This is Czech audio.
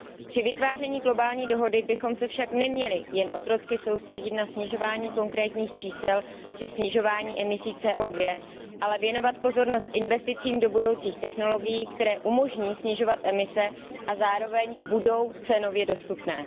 Při vytváření globální dohody bychom se však neměli jen otrocky soustředit na snižování konkrétních čísel při snižování emisí CO 2 ale věnovat pozornost investicím do budoucích technologií, které umožní snižovat emise a zároveň budou cenově dostupné.